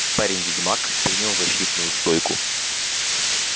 парень-ведьмак принял защитную стойку